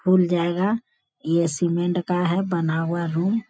खुल जाएगा | ये सीेमेंट का है बना हुआ रूम |